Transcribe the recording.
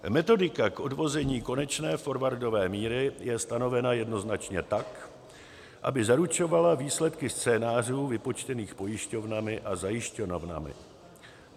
Metodika k odvození konečné forwardové míry je stanovena jednoznačně tak, aby zaručovala výsledky scénářů vypočtených pojišťovnami a zajišťovnami.